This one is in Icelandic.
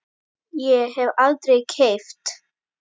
Ég hef aldrei keppt.